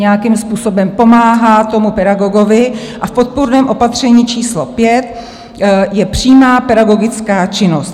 Nějakým způsobem pomáhá tomu pedagogovi a v podpůrném opatření číslo 5 je přímá pedagogická činnost.